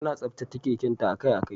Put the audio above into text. Tana tsaftace keken ta akai-akai.